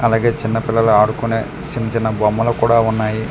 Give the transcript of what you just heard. అలాగే చిన్న పిల్లలు ఆడుకునే చిన్న చిన్న బొమ్మలు కూడా ఉన్నాయి.